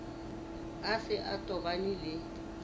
a se a tobane le